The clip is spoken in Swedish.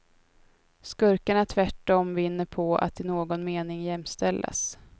Skurkarna tvärtom vinner på att i någon mening jämställas.